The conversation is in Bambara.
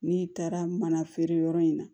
N'i taara mana feere yɔrɔ in na